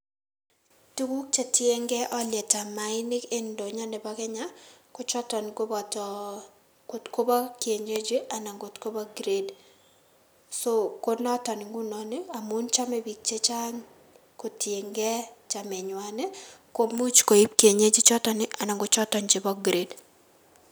Tuguk chetiengei olietab maainik en ntonyo nebo Kenya kochoton koboto kotko bo kienyeji anan kot kobo kired so konoton ngunon amun chome biik chechang' kotiengei chamenywan ii komuch koib kienyeji ichoton anan kochoton chebo kired.